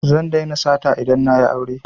Zan daina sata idan na yi aure